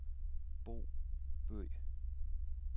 Bo Bøgh